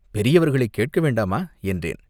பெரியவர்களைக் கேட்க வேண்டாமா, என்றேன்.